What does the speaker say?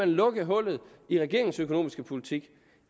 lukke hullet i regeringens økonomiske politik